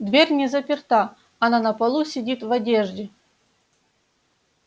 дверь не заперта она на полу сидит в одежде